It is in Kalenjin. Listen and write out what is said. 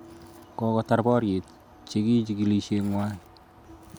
Kokotar boryet chiki chikilishengwai